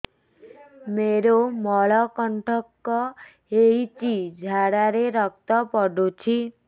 ମୋରୋ ମଳକଣ୍ଟକ ହେଇଚି ଝାଡ଼ାରେ ରକ୍ତ ପଡୁଛି